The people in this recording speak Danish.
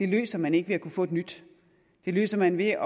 løser man ikke ved at kunne få et nyt det løser man ved